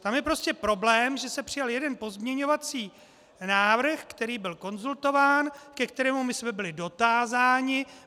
Tam je prostě problém, že se přijal jeden pozměňovací návrh, který byl konzultován, ke kterému my jsme byli dotázáni.